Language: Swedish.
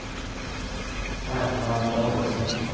Ragnvald Davidsson